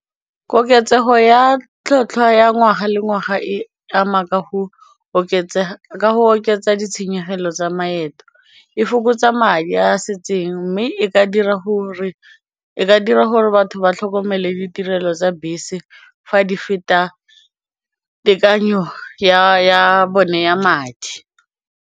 Koketsego ya tlhwatlhwa ya ngwaga le ngwaga e ama ka go oketsa ditshenyegelo tsa maeto, e fokotsa madi a setseng mme e ka dira gore batho ba tlhokomele ditirelo tsa bese fa di feta tekanyo ya bone ya madi.